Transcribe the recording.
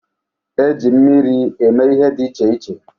E ji mmiri eme ihe dị iche iche.